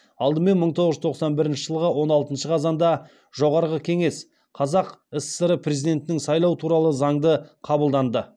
алдымен мың тоғыз жүз тоқсан бірінші жылғы он алтыншы қазанда жоғарғы кеңес қазақ сср президентін сайлау туралы заңды қабылданды